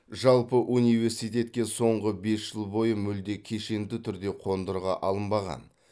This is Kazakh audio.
жалпы университетке соңғы бес жыл бойы мүлде кешенді түрде қондырғы алынбаған